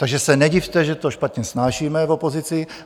Takže se nedivte, že to špatně snášíme v opozici.